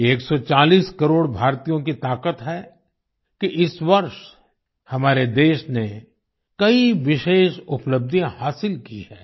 ये 140 करोड़ भारतीयों की ताकत है कि इस वर्ष हमारे देश ने कई विशेष उपलब्धियाँ हासिल की हैं